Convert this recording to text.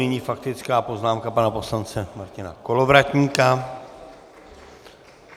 Nyní faktická poznámka pana poslance Martina Kolovratníka.